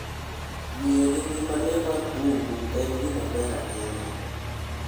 Ng'iyo gi ngima le mag bungu en gima ber ahinya.